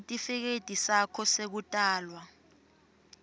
sitifiketi sakho sekutalwa